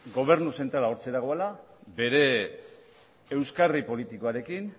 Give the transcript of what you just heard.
gobernu zentrala hortxe dagoela bere euskarri politikoarekin